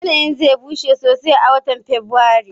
Yanayin zai bushe sosai a watan Fabrairu